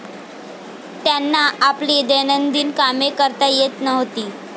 त्यांना आपली दैनंदिन कामे करता येत नव्हती.